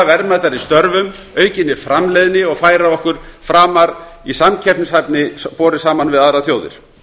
verðmætari störfum aukinni framleiðni og færa okkur framar í samkeppnishæfni borið saman við aðrar þjóðir